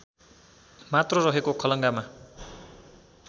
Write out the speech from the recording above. मात्र रहेको खलङ्गामा